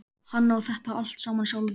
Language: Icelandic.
Hann á þetta allt saman sjálfur.